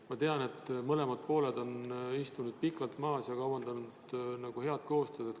Ma tean, et mõlemad pooled on istunud pikalt koos ja kavandanud head koostööd.